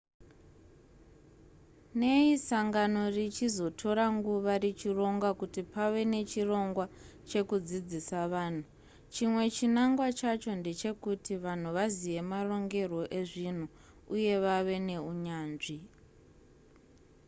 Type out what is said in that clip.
nei sangano richizotora nguva richironga kuti pave nechirongwa chekudzidzisa vanhu chimwe chinangwa chacho ndechekuti vanhu vazive marongerwo ezvinhu uye vave neunyanzvi